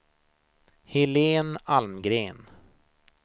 Helene Almgren